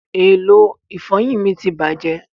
èló ifoyin mí tí bàjé